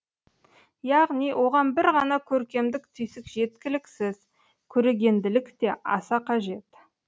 яғни оған бір ғана көркемдік түйсік жеткіліксіз көрегенділік те аса қажет